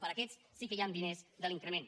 per a aquests sí que hi han diners de l’increment